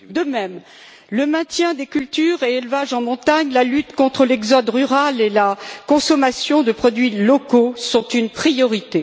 De même, le maintien des cultures et des élevages en montagne, la lutte contre l'exode rural et la consommation de produits locaux sont une priorité.